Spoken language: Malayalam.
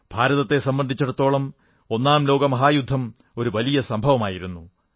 ഭാരതത്തെ സംബന്ധിച്ചിടത്തോളം ഒന്നാം ലോകമഹായുദ്ധം ഒരു വലിയ സംഭവമായിരുന്നു